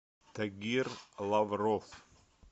тагир лавров